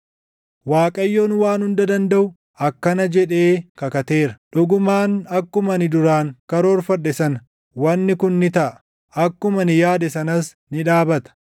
Waaqayyoon Waan Hunda Dandaʼu akkana jedhee kakateera; “Dhugumaan akkuma ani duraan karoorfadhe sana // wanni kun ni taʼa; akkuma ani yaade sanas ni dhaabata.